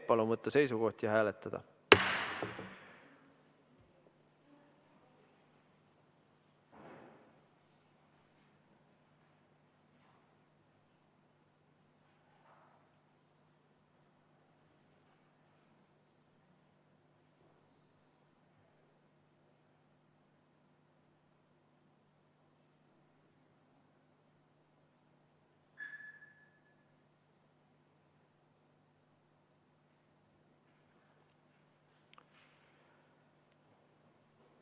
Palun võtta seisukoht ja hääletada!